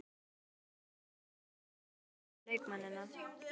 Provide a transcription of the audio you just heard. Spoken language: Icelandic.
Járnbrá, hver er dagsetningin í dag?